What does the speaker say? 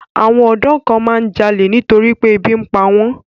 Àwọn ọ̀dọ́ kan máa ń jalè nítorí pé ebi ń pa wọ́n.